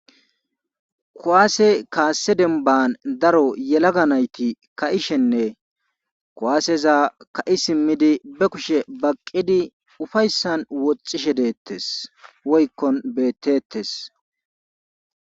Kuwaase kaassi dembban daro yelaga nayti ka7ishenne kuwaaseza ka7i simmidi be kushe baqqidi ufayssan woxxishe deettes woykkon beettetes.